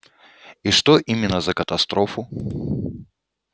и что именно за катастрофу